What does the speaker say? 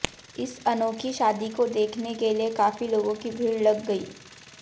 इस अनोखी शादी को देखने के लिए काफी लोगों की भीड़ लग गई